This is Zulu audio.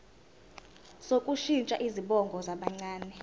sokushintsha izibongo zabancane